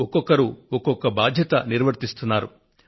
ఇలా ఒక్కొక్కరు ఒక్కొక్క బాధ్యతను నెరవేరుస్తున్నారు